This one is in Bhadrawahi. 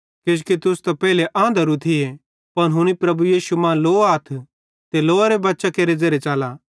किजोकि तुस त पेइले आंधरू थी पन हुनी प्रभु यीशु मां लोआथ ते लोअरे बच्चां केरे ज़ेरे च़ला